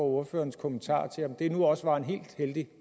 ordførerens kommentar til om det nu også var en helt heldig